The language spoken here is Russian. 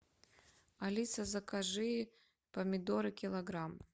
алиса закажи помидоры килограмм